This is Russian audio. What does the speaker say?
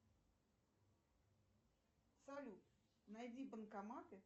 салют найди банкоматы